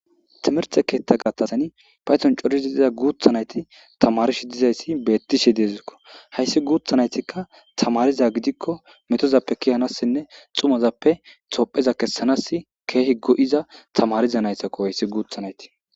timerthe keetta gattazani payton corizi diza guuthanayti tamarishi dizayssi beettishe deezikko hayssi guuthanaytikka tamariza gidikko metozappe kihanassinne xumazappe topheza kessanass keehi go7iza tamarizanaytakko hayssi guutha nayti